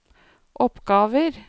oppgaver